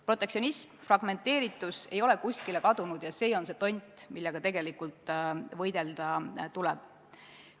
Protektsionism ja fragmenteeritus ei ole kuskile kadunud ning see on see tont, millega tegelikult võidelda tuleb.